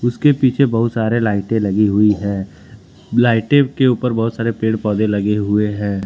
उसके पीछे बहुत सारे लाइटे लगी हुई है लाइटे के ऊपर बहुत सारे पेड़ पौधे लगे हुए हैं।